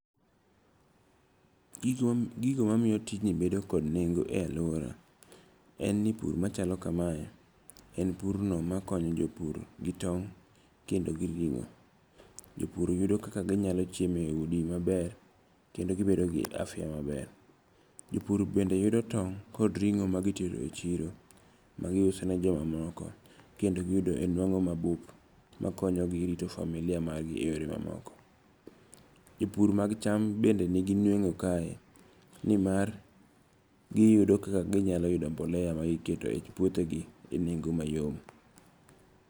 Gigo mamiyo tijni bedo kod nengo e aluora en ni pur machalo kamae en pur no makonyo jopur gi tong' kendo gi ringo. Jopur yudo kaka ginyalo chiemo e udi maber kendo gibedo gi afya maber. Jopur bende yudo tong' kod ringo ma gitero e chiro ma gi uso ne jomamoko kendo giyudo nwang'o mabup makonyo gi e rito famlia mag gi e yore mamoko. Jopur mag cham bende nigi nueng'o kae ni mar giyudo kaka ginyalo yudo mbolea ma gikete e puothe gi e neng'o mayom.